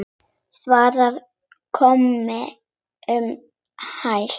Svarið kom um hæl.